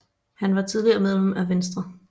Han var tidligere medlem af Venstre